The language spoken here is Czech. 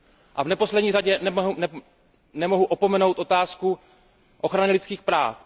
A v neposlední řadě nemohu opomenout otázku ochrany lidských práv.